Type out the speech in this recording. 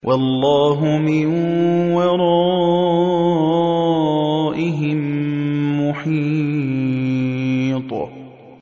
وَاللَّهُ مِن وَرَائِهِم مُّحِيطٌ